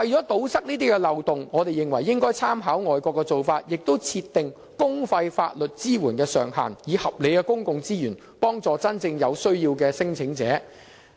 為堵塞這些漏洞，我們認為應參考外國的做法，設定公費法律支援的上限，以合理的公共資源幫助真正有需要的聲請人。